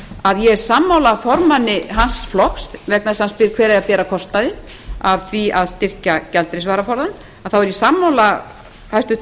að ég er sammála formanni hans flokks vegna þess að hann spyr hver eigi að bera kostnaðinn af því að styrkja gjaldeyrisvaraforðann þá er ég sammála hæstvirtum